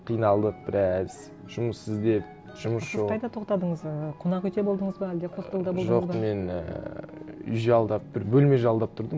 қиналдық біраз жұмыс іздеп жұмыс жоқ сіз қайда тоқтадыңыз ы қонақ уйде болдыңыз ба әлде хостелда болдың ба жоқ мен і үй жалдап бір бөлме жалдап тұрдым